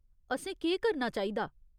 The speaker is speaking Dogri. असें केह् करना चाहिदा ?